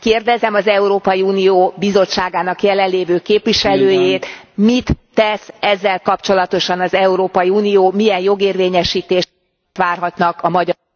Kérdezem az Európai Unió Bizottságának jelen lévő képviselőjét, mit tesz ezzel kapcsolatosan az Európai Unió, milyen jogérvényesítést várhatnak a magyar